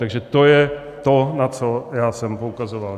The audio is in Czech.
Takže to je to, na co já jsem poukazoval.